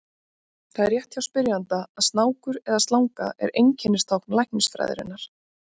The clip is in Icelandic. Það er rétt hjá spyrjanda að snákur eða slanga er einkennistákn læknisfræðinnar.